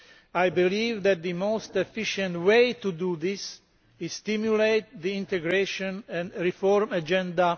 I believe that the most efficient way to do this is to stimulate the integration and reform agenda.